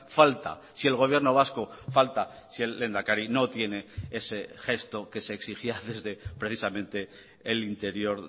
falta si el gobierno vasco falta si el lehendakari no tiene ese gesto que se exigía desde precisamente el interior